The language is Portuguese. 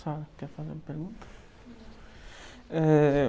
Sara, quer fazer uma pergunta? Eh...